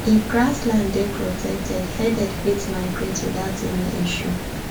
if grass land dey protected herded fit migrate without any issue